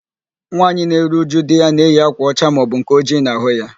Nwaanyị na-eru újú di ya na-eyi ákwà ọcha maọbụ nke ojii n'ahụ ya.